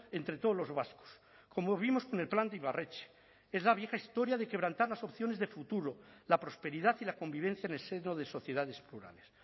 entre todos los vascos como vimos con el plan de ibarretxe es la vieja historia de quebrantar las opciones de futuro la prosperidad y la convivencia en el seno de sociedades plurales